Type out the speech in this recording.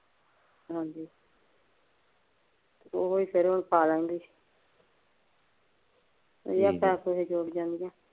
ਹਾਂਜੀ,